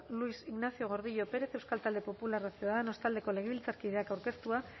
luis ignacio gordillo pérez euskal talde popularra ciudadanos taldeko legebiltzarkideak aurkeztua